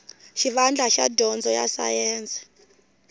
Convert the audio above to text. xivandla xa dyondzo ya sayense